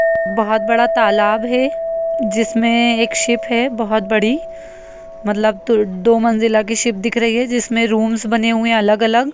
बहुत बड़ा तालाब है जिसमे एक शिप है बहुत बड़ी मतलब दो मंज़िला की शिप दिख रही है जिसमे रूम बने हुए है अलग अलग।